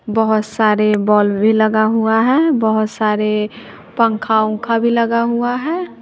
बहोत सारे बॉल्ब भी लगा हुआ है बहोत सारे पंखा-उंखा भी लगा हुआ है।